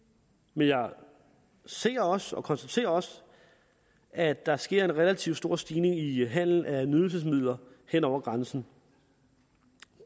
men jeg ser også og konstaterer også at der sker en relativt stor stigning i handelen af nydelsesmidler hen over grænsen